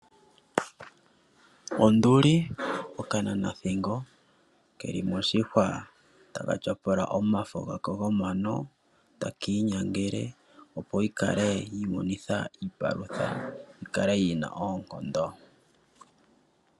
Onduli, okananathingo keli moshihwa taka tyapula omafo gako gomano taka inyangele opo yi imonene iipalutha yi kale yina oonkondo.